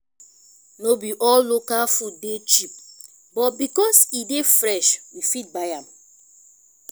no be all local food dey cheap but because e dey fresh we fit buy am